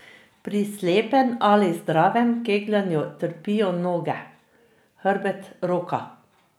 Pri slepem ali zdravem kegljanju trpijo noge, hrbet, roka.